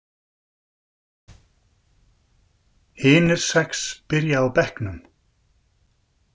Hinir sex byrja á bekknum.